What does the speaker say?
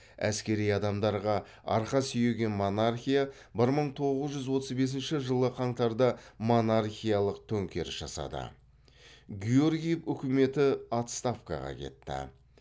әскери адамдарға арқа сүйеген монархия бір мың тоғыз жүз отыз бесінші жылы қаңтарда монархиялық төңкеріс жасады георгиев үкіметі отставкаға кетті